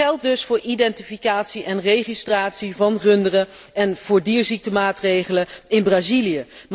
Dat geldt dus voor identificatie en registratie van runderen en voor dierziektenmaatregelen in Brazilië.